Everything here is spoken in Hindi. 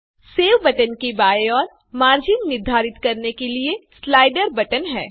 सेव बटन के बाएँ ओर मार्जिन निर्धारित करने के लिए स्लाइडर बटन है